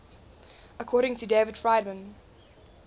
according to david friedman